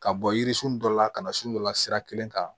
Ka bɔ yirisun dɔ la ka na s'u la sira kelen kan